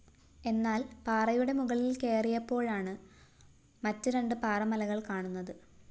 എന്നാല്‍ പാറയുടെ മുകളില്‍ കയറിയപ്പോഴാണ് മറ്റ് രണ്ട് പാറമലകള്‍ കാണുന്നത്